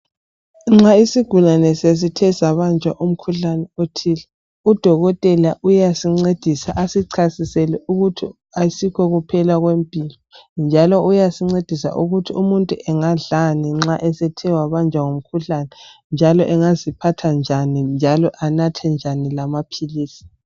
Nxa isigulane sesithe sabanjwa umkhuhlane othile udokotela uyasincedisa asichasisele ukuthi ayisikho kuphela kwempilo njalo uyasincedisa ukuthi umuntu engadlani nxa esethe wabanjwa ngumkhuhlani njalo angaziphatha njani njalo anathe njani lamaphilisi.